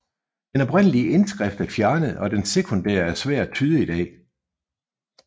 Den oprindelig indskrift er fjernet og den sekundære er svær at tyde i dag